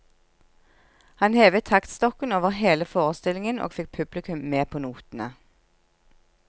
Han hevet taktstokken over hele forestillingen og fikk publikum med på notene.